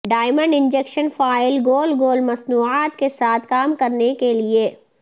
diamond injection file گول گول مصنوعات کے ساتھ کام کرنے کے لئے